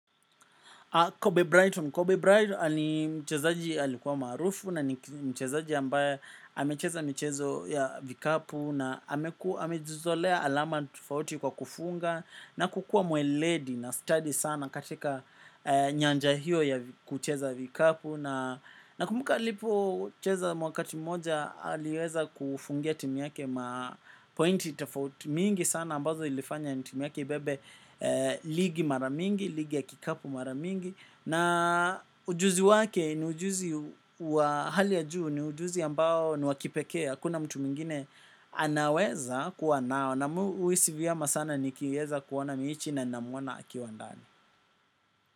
Kobe Brighton. Kobe Brighton ni mchezaji alikuwa maarufu, na ni mchezaji ambaye amecheza michezo ya vikapu na amejizolea alama tofauti kwa kufunga, na kukua mweledi na stadi sana katika nyanja hiyo ya kucheza vikapu nakumbuka alipo cheza wakati moja, aliweza kufungia timu yake ma pointi tofauti mingi sana ambazo ilifanya timi yake ibebe ligi maramingi, ligi ya kikapu maramingi. Na ujuzi wake ni ujuzi wa hali ya juu. Ni ujuzi ambao ni wakipekea hakuna mtu mwingine anaweza kuwa nayo na mimi uhisi vyema sana nikiweza kuona mechi na namwona akiwa ndani.